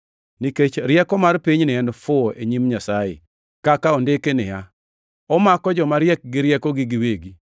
Nikech rieko mar pinyni en fuwo e nyim Nyasaye kaka ondiki niya, “Omako joma riek gi riekogi giwegi” + 3:19 \+xt Ayu 5:13\+xt*;